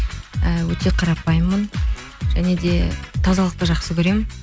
і өте қарапайыммын және де тазалықты жақсы көремін